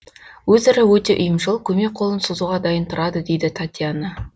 өзара өте ұйымшыл көмек қолын созуға дайын тұрады дейді татьяна